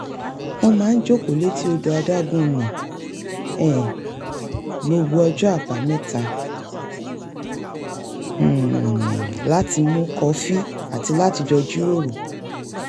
wọ́n máa ń jókòó léti odò adágún ní um gbogbo ọjọ́ àbámẹ́ta um láti mu kọfí àti láti jọ jíròrò